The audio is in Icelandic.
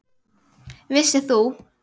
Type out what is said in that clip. Vissir þú.